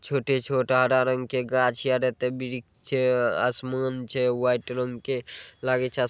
छोटे-छोट हरा रंग के गाछ आर ऐतय वृक्ष छै आसमान छै व्हाइट रंग के लागे छै आस ---